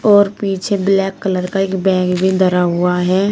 और पीछे black colour का एक बैग भी धरा हुआ है।